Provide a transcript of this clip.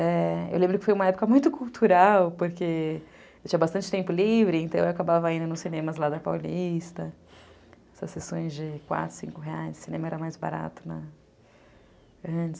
É... Eu lembro que foi uma época muito cultural, porque eu tinha bastante tempo livre, então eu acabava indo nos cinemas lá da Paulista, essas sessões de quatro, cinco reais, cinema era mais barato.